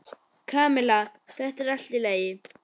Kamilla, þetta er allt í lagi.